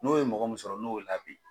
N'o ye mɔgɔ min sɔrɔ n'o y'o labin